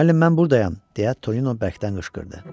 "Müəllim, mən buradayam", deyə Tonino bərkdən qışqırdı.